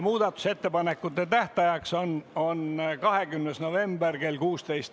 Muudatusettepanekute esitamise tähtaeg on 20. november kell 16.